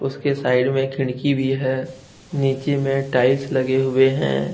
उसके साइड में एक खिड़की भी है नीचे में टाइल्स लगे हुए है।